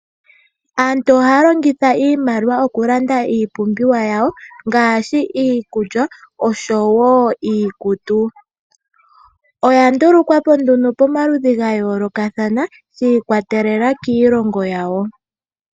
Aantu ohaya longitha iimaliwa mokulanda iipumbiwa yawo ngaashi iikulya nosho woo iikutu. Oya ndulukwapo nduno pomaludhi gayoolokathana shiikwatelela kiilingo yawo.